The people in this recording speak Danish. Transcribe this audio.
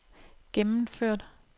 gennemført